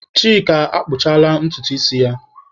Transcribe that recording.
Chika akpụchapụla ntutu isi ya.